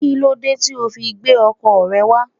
Kílódé tí o ò fi gbé ọkọ̀ rẹ wá?